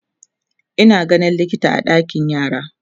Ina ganin likita a ɗakin yara